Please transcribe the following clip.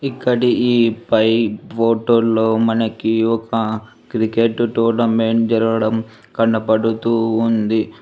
కడి ఈ పై ఫోటోలో మనకి ఒక క్రికెట్ టోర్నమెంట్ జరగడం కనబడుతూ ఉంది.